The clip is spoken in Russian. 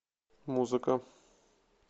музыка